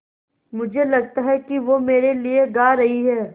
मुझे लगता है कि वो मेरे लिये गा रहीं हैँ